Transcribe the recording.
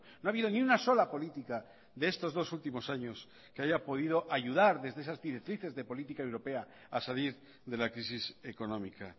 no ha habido ni una sola política de estos dos últimos años que haya podido ayudar desde esas directrices de política europea a salir de la crisis económica